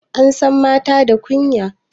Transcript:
Ansan mata da kunya